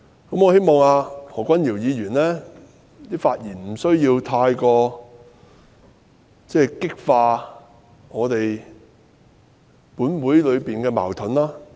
我希望何君堯議員在發言時避免激化本會的矛盾。